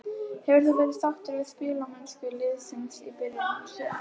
Hefur þú verið sáttur við spilamennskuna liðsins í byrjun sumars?